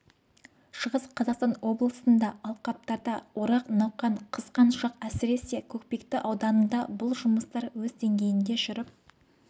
шығыс қазақстан облысында алқаптарда орақ науқан қызған шақ әсіресе көкпекті ауданында бұл жұмыстар өз деңгейінде жүріп